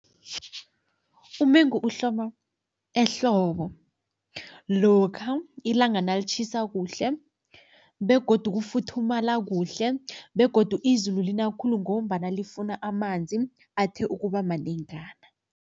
Umengu uhloma ehlobo, lokha ilanga nalitjhisa kuhle begodu kufuthumala kuhle begodu izulu lina khulu ngombana lifuna amanzi athe ukuba manengana.